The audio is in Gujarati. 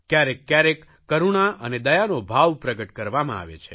ક્યારેક ક્યારેક કરૂણા અને દયાનો ભાવ પ્રગટ કરવામાં આવે છે